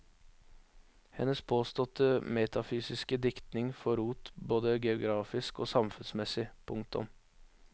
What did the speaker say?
Hennes påståtte metafysiske diktning får rot både geografisk og samfunnsmessig. punktum